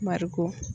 Bariko